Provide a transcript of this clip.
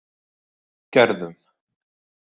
Gerðum